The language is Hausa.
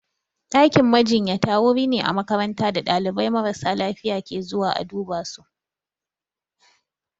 Ɗakin majinyata wuri ne a makaranta da ɗalibai marasa lafiya ke zuwa a duba su.